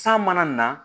San mana na